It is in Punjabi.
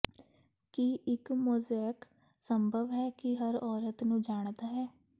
ਕੀ ਇੱਕ ਮੋਜ਼ੇਕ ਸੰਭਵ ਹੈ ਕਿ ਹਰ ਔਰਤ ਨੂੰ ਜਾਣਦਾ ਹੈ